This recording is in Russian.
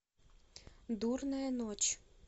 дурная ночь